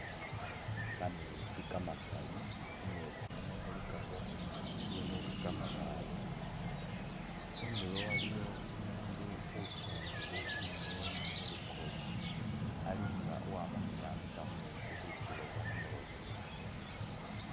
Kametsi kamakali, khumetsi khuno khulikakho bibindu nga kamabaale ,khundulo waliwo umundu usungile inyeni khu lukoye, alinga uwama khukyamisa mumetsi khukiloba khumulobo